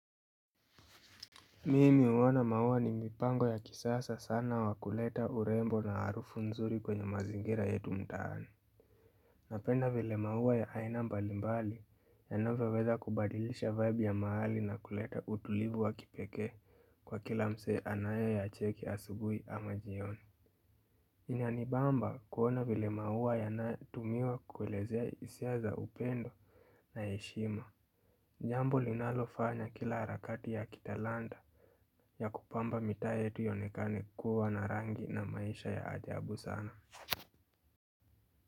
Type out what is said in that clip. Mimi uona maua ni mipango ya kisasa sana wakuleta urembo na harufu nzuri kwenye mazingira yetu mtaani. Napenda vile maua ya aina mbalimbali yanoveweza kubadilisha vibe ya maali na kuleta utulivu wa kipeke kwa kila mse anayo yacheki asubui ama jioni. Inanibamba kuona vile maua yanatumiwa kuwelezea isia za upendo na eshima jambo linalofanya kila harakati ya kitalanda ya kupamba mita yetu iyonekane kukua na rangi na maisha ya ajabu sana.